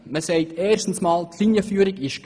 Erstens sagt man, die Linienführung sei gegeben.